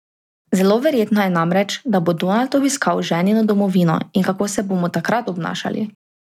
Zelo verjetno je namreč, da bo Donald obiskal ženino domovino in kako se bomo takrat obnašali?